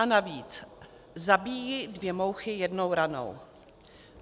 A navíc zabíjí dvě mouchy jednou ranou.